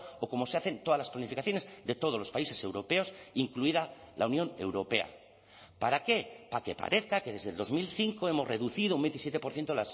o como se hacen todas las planificaciones de todos los países europeos incluida la unión europea para qué para que parezca que desde el dos mil cinco hemos reducido un veintisiete por ciento